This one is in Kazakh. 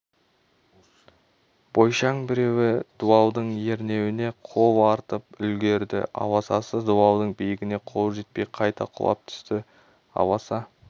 бойшаң біреуі дуалдың ернеуіне қол артып үлгірді аласасы дуалдың биігіне қолы жетпей қайта құлап түсті аласа